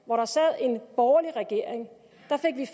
hvor der sad en borgerlig regering